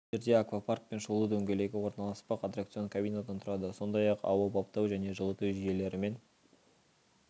жерде аквапарк пен шолу дөңгелегі орналаспақ аттракцион кабинадан тұрады сондай-ақ ауа баптау және жылыту жүйелерімен